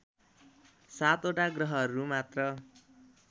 ७ वटा ग्रहहरू मात्र